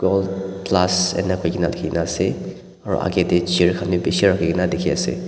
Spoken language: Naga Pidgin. gold plus dikhina ase aru agey tey chair khan bhi bishi rakhi kena dikhi ase.